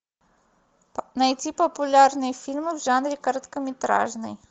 найти популярные фильмы в жанре короткометражный